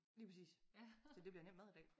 Lige præcis så det bliver nem mad i dag